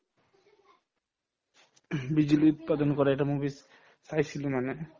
বিজুলী উৎপাদন কৰা এটা movies চাইছিলো মানে